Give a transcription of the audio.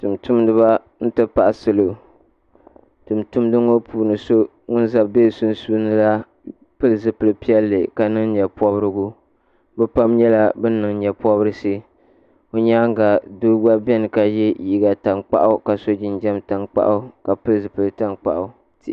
Tuun tumdi ba n ti pahi salo tuun tumdi so ŋuni bɛ sunsuuni pili zupiligu piɛlli ka niŋ yee pɔbirigu bi pam nyɛla bini niŋ yee pɔbirisi bi yɛanga doo gba bɛni ka ye liiga tankpaɣu ka so jinjam tankpaɣu ka pili zupiligu tankpaɣu .